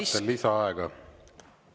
Kas vajate lisaaega?